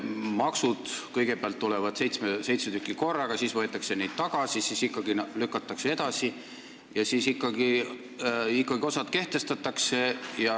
Maksud – kõigepealt tuleb seitse tükki korraga, siis võetakse need tagasi, siis lükatakse ikkagi edasi ja seejärel osa siiski kehtestatakse.